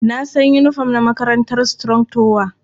Na san yinifom na makarantar Strong tower.